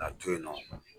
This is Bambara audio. K'a to yen nɔ